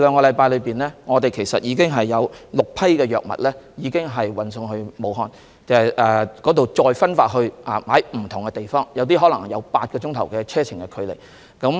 在過去兩星期，已經有6批藥物運送至武漢，在那裏再分派至不同地方，有些地方可能需要8小時車程才到達。